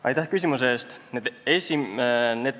Aitäh küsimuse eest!